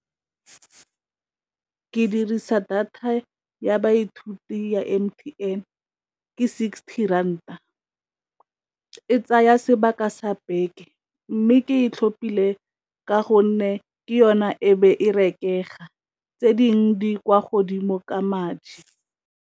Ke dirisa data ya baithuti ya M_T_N ke sixty rand a e tsaya sebaka sa beke, mme ke e tlhopile ka gonne ke yona e be e rekega tse dingwe tse di kwa godimo ka madi.